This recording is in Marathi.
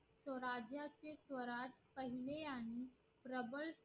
स्वराज्याचे स्वराज पहिले आणि